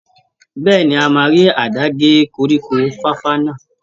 Bẹ́ẹ̀ni, a máa rí àdá gé koríko fàfà náà.